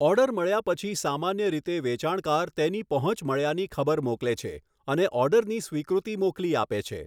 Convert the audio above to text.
Order મળ્યા પછી સામાન્ય રીતે વેચાણકાર તેની પહોંચ મળ્યાની ખબર મોકલે છે અને ઓર્ડરની સ્વીકૃતિ મોકલી આપે છે.